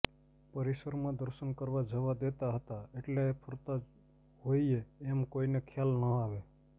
પરિસરમાં દર્શન કરવા જવા દેતા હતા એટલે ફરતા હોઈએ એમ કોઈને ખ્યાલ ન આવે